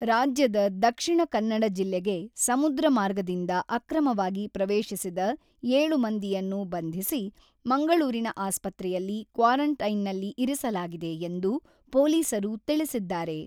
ರಾಜ್ಯದ ದಕ್ಷಿಣ ಕನ್ನಡ ಜಿಲ್ಲೆಗೆ ಸಮುದ್ರ ಮಾರ್ಗದಿಂದ ಅಕ್ರಮವಾಗಿ ಪ್ರವೇಶಿಸಿದ ಏಳು ಮಂದಿಯನ್ನು ಬಂಧಿಸಿ, ಮಂಗಳೂರಿನ ಆಸ್ಪತ್ರೆಯಲ್ಲಿ ಕ್ವಾರೆಂಟೈನ್‌ನಲ್ಲಿ ಇರಿಸಲಾಗಿದೆ ಎಂದು ಪೊಲೀಸರು ತಿಳಿಸಿದ್ದಾರೆ.